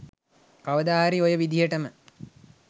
කවදාහරි ඔය විදිහටම